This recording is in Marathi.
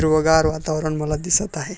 हिरवगार वातावरण मला दिसत आहे.